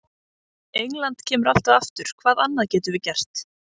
England kemur alltaf aftur, hvað annað getum við gert?